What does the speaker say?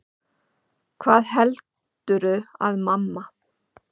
HVAÐ HELDURÐU AÐ MAMMA